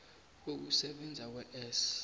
ukusebenza kwe s